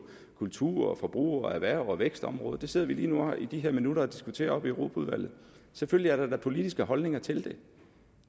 kultur forbruger erhvervs og vækstområdet det sidder vi lige nu i de her minutter og diskuterer oppe i europaudvalget selvfølgelig er der da politiske holdninger til det